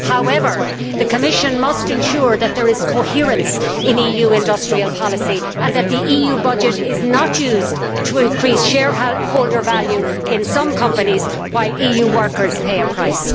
However, the Commission must ensure that there is coherence in EU industrial policy and that the EU budget is not used to increase shareholder value in some companies, while EU workers pay a price.